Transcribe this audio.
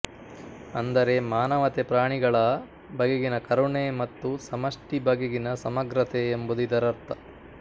ಅಂದರೆ ಮಾನವತೆಪ್ರಾಣಿಗಳ ಬಗೆಗಿನ ಕರುಣೆ ಮತ್ತು ಸಮಷ್ಟಿ ಬಗೆಗಿನ ಸಮಗ್ರತೆ ಎಂಬುದು ಇದರ್ಥ